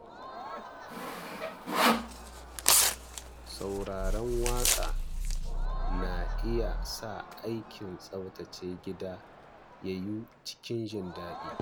Sauraron waƙa yana iya sa aikin tsaftace gida ya yiwu cikin jin daɗi.